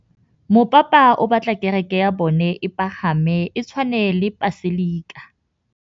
Mopapa o batla kereke ya bone e pagame, e tshwane le paselika.